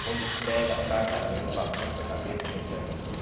Quando pega, ataca mesmo, bagunça a cabeça, a mente da gente todo dia.